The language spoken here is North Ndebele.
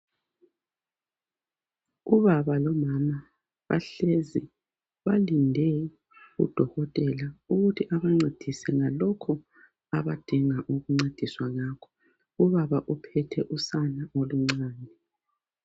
Ubaba lomama bahlezi balinde udokotela ukuthi abancedise ngalokho abadinga ukuncediswa ngakho, ubaba uphethe usana oluncane